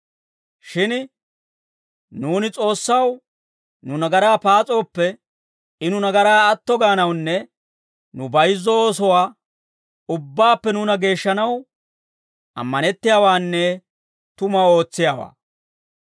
Shin nuuni S'oossaw nu nagaraa paas'ooppe, I nu nagaraa atto gaanawunne nu bayizzo oosuwaa ubbaappe nuuna geeshshanaw, ammanettiyaawaanne tumuwaa ootsiyaawaa.